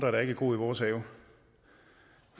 også